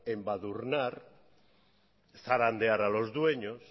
embadurnar zarandear a los dueños